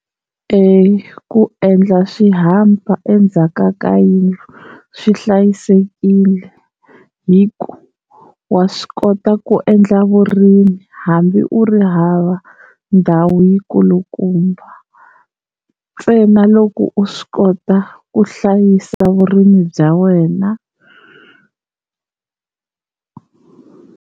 Eya ku endla swirhapa endzhaka ka yindlu swi hlayisekile hi ku wa swi kota ku endla vurimi hambi u ri hava ndhawu yi nkulukumba ntsena loko u swi kota ku hlayisa vurimi bya wena.